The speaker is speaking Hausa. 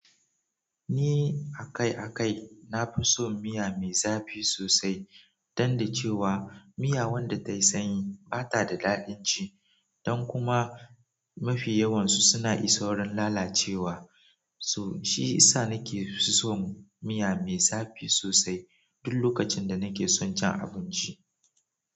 Ni akai-akai na fi son miya mai zafi sosai, dan da cewa miya wanda tayi sanyi bata da daɗin ci, dan kuma mafi yawansu suna iso wurin lalacewa, shi yasa na ke son miya mai zafi sosai duk lokacin da na ke son cin abinci.